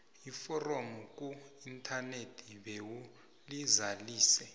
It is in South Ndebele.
iforomo kuinthanethi bewulizalise